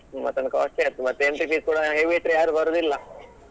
Mutton costly ಆಯ್ತು ಮತ್ತೆ entry fees ಕೂಡ heavy ಇಟ್ರೆ ಯಾರು ಬರುದಿಲ್ಲಾ.